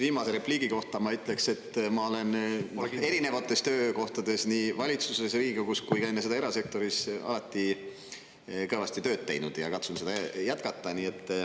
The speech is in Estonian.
Viimase repliigi kohta ma ütleks, et ma olen erinevates töökohtades, nii valitsuses, Riigikogus kui ka enne seda erasektoris, alati kõvasti tööd teinud ja katsun seda jätkata.